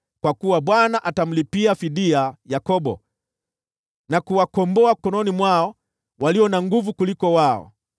Kwa kuwa Bwana atamlipia fidia Yakobo na kuwakomboa mkononi mwa walio na nguvu kuliko wao.